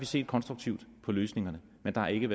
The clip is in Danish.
set konstruktivt på løsningerne men der er ikke